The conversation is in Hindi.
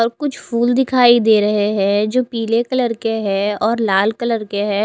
और कुछ फुल दिखाई दे रहे है जो पीले कलर के है और लाल कलर के है।